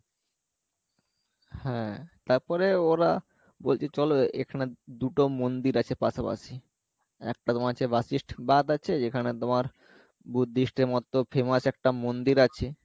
হ্যাঁ তারপরে ওরা বলছে চলো এখানে দুটো মন্দির আছে পাশাপাশি একটা যেখানে তোমার Buddhist famous একটা মন্দির আছে